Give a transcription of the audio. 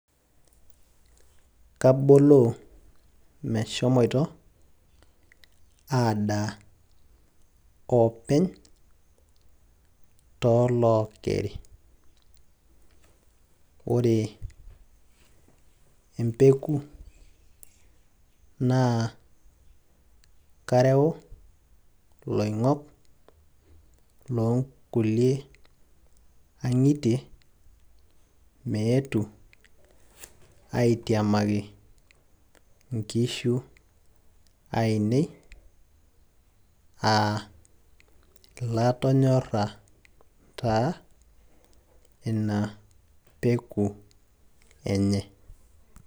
kaboloo meshomoito adaa openy, toolookeri, ore empeku naa kareu iloing'ok looo nkulie ang'ietie meetu aitiamaki nkishu aainei aa ilatonyora taa ina peku enye.